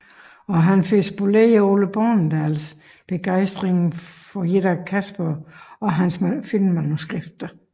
Og han får spoleret Ole Bornedals begejstring for et af Casper og hans filmmanuskripter